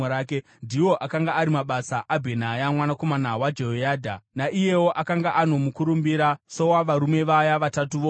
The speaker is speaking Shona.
Ndiwo akanga ari mabasa aBhenaya mwanakomana waJehoyadha; naiyewo akanga ano mukurumbira sowavarume vaya vatatu voumhare.